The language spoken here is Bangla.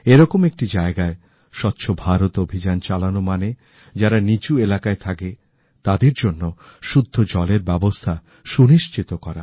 এরকম একটি জায়গায় স্বচ্ছ ভারত অভিযান চালানো মানে যারা নীচু এলাকায় থাকে তাদের জন্য শুদ্ধ জলের ব্যবস্থা সুনিশ্চিত করা